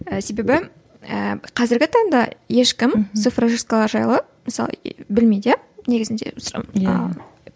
ііі себебі ііі қазіргі таңда ешкім цифрожисткалар жайлы мысалы білмейді иә негізінде